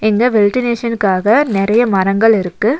இங்க வெல்டினேஷனுக்காக நறைய மரங்கள் இருக்கு.